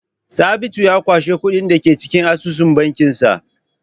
Sabitu ya kwashe kuɗin da ke cikin asusun bankinsa.